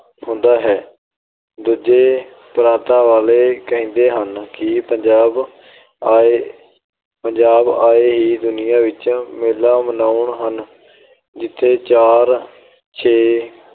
ਹੁੰਦਾ ਹੈ। ਦੂਜੇ ਪ੍ਰਾਤਾਂ ਵਾਲੇ ਕਹਿੰਦੇ ਹਨ ਕਿ ਪੰਜਾਬੀ ਆਏ ਅਹ ਪੰਜਾਬੀ ਆਏ ਹੀ ਦੁਨੀਆਂ ਵਿੱਚ ਮੇਲਾ ਮਨਾਉਣ ਹਨ। ਜਿੱਥੇ ਚਾਰ ਛੇ